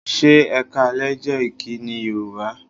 Ṣé "Ẹ káalẹ́" jẹ́ ìkíni Yorùbá?